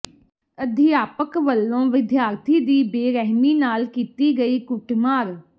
ਅਧਿਆਪਕ ਵੱਲੋਂ ਵਿਦਿਆਰਥੀ ਦੀ ਬੇਰਹਿਮੀ ਨਾਲ ਕੀਤੀ ਗਈ ਕੁੱਟ ਮਾਰ